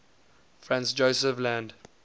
franz josef land